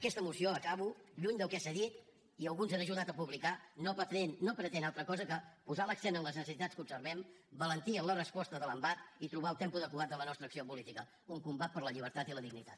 aquesta moció acabo lluny del que s’ha dit i alguns han ajudat a publicar no pretén altra cosa que posar l’accent en les necessitats que observem valentia en la resposta de l’embat i trobar el tempo adequat de la nostra acció política un combat per la llibertat i la dignitat